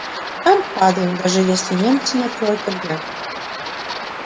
там падаем даже если немцы не откроют огня